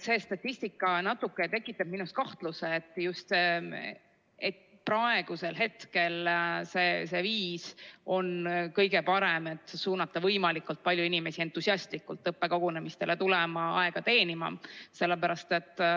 See statistika tekitab minus natukene kahtlusi, kas praegu see viis on kõige parem, et suunata võimalikult palju inimesi entusiastlikult tulema õppekogunemistele ja aega teenima.